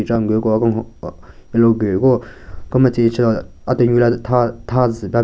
Che ngu ko a-kenhon aah aa alu gu hiko kemetsen shen a-tenunyu gu le tha tha zu pe--